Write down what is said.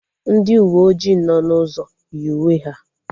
Ndị uwe ojii nọ n'ụzọ yi uwe ha